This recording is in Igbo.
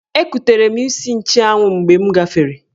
Ekutere m isi nchụanwụ mgbe m gafere.